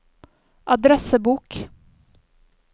adressebok